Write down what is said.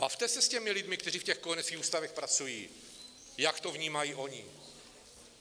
Bavte se s těmi lidmi, kteří v těch kojeneckých ústavech pracují, jak to vnímají oni.